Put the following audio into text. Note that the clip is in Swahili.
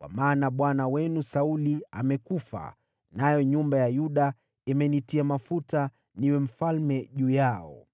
kwa maana bwana wenu Sauli amekufa, nayo nyumba ya Yuda imenitia mafuta niwe mfalme juu yao.”